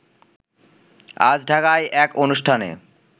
আজ ঢাকায় এক অনুষ্ঠানে